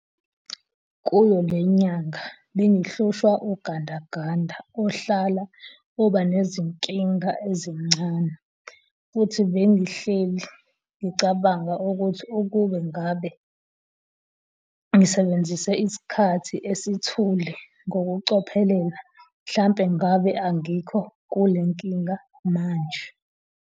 Kuyo le nyanga bengihlushwa ugandaganda ohlala uba nezinkingana ezincane futhi bengihleli ngicabanga ukuthi ukube ngabe ngisebenzise isikhathi esithule ngokucophelela mhlampe ngabe angikho kulenkinga manje.